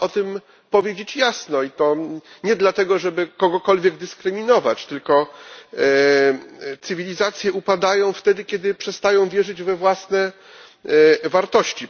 Trzeba o tym powiedzieć jasno i nie dlatego, żeby kogokolwiek dyskryminować. Cywilizacje upadają wtedy, kiedy przestają wierzyć we własne wartości.